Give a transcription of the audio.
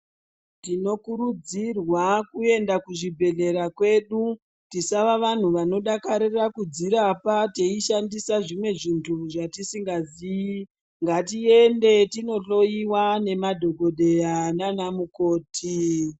Tinokurudzirwa kuenda kuchibhedhlera kwedu tisava vandu vanodakarira kudzirapa teishandisa zvinduru zvatisingazivi ngatiende tinohloyiwa nemadhokoteya nana mukoti.